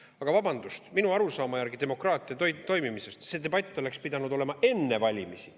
Aga vabandust, minu arusaama järgi demokraatia toimimisest oleks see debatt pidanud olema enne valimisi.